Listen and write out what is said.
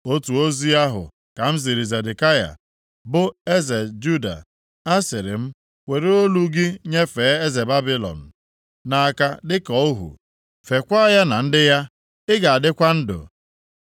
Otu ozi ahụ ka m ziri Zedekaya, bụ eze Juda. Asịrị m, “Were olu + 27:12 Ya bụ, onwe gị nyefee eze Babilọn nʼaka dịka ohu, feekwa ya na ndị ya, ị ga-adịkwa ndụ.